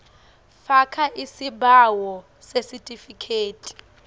faka isibawo sesitifikethi